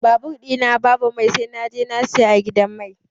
Babur ɗi na babu mai sai naje na siya a gidan mai.